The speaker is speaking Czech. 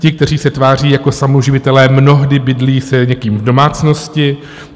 Ti, kteří se tváří jako samoživitelé, mnohdy bydlí s někým v domácnosti.